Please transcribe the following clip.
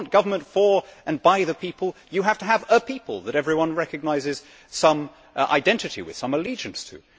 If you want government for and by the people, you have to have a people that everyone recognises some identity with, some allegiance to.